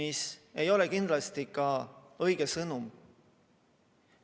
See ei ole kindlasti õige sõnum.